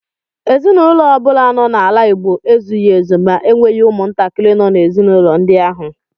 Ezinụlọ ọbụla nọ n’ala Igbo ezughị ezu ma enweghị umuntakiri nọ n’ezinaụlọ ndi ahu.